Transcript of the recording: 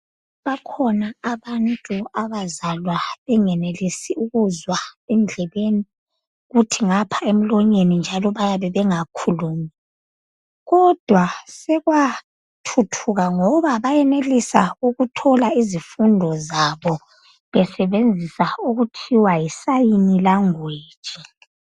Bakhona abantu abazalwa bengenilisi ukuzwa endlebeni, kuthi ngapha emlonyeni njalo bayabe bengakhulumi . Kodwa sekwathuthuka ngoba bayenelisa ukuthola izifundo zabo besebenzisa okuthiwa yi 'Sign language'.